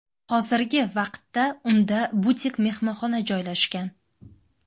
Hozirgi vaqtda unda butik-mehmonxona joylashgan.